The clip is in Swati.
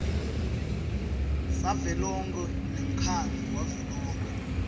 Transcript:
savelonkhe nemkhandlu wavelonkhe